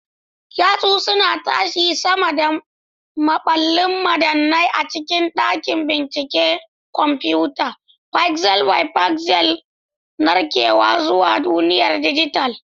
Yatsu suna tashi sama da maballin madannai a cikin dakin binciken kwamfuta, pixel by pixel narkewa zuwa duniyar dijital.